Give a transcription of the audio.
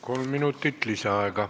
Kolm minutit lisaaega.